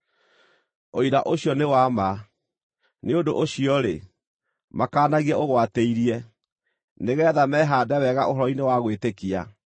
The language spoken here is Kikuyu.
Ũira ũcio nĩ wa ma. Nĩ ũndũ ũcio-rĩ, makaanagie ũgwatĩirie, nĩgeetha mehaande wega ũhoro-inĩ wa gwĩtĩkia,